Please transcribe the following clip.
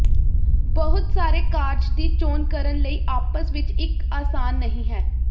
ਬਹੁਤ ਸਾਰੇ ਕਾਰਜ ਦੀ ਚੋਣ ਕਰਨ ਲਈ ਆਪਸ ਵਿੱਚ ਇੱਕ ਆਸਾਨ ਨਹੀ ਹੈ